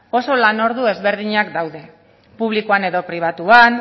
oso lanordu ezberdinak daude publikoan edo pribatuan